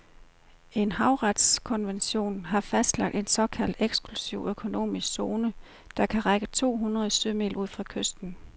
En havretskonvention har fastlagt en såkaldt eksklusiv økonomisk zone, der kan række to hundrede sømil ud fra kysten.